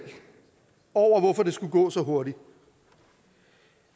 over hvorfor det skulle gå så hurtigt